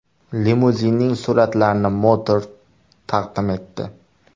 Limuzinning suratlarini Motor taqdim etdi .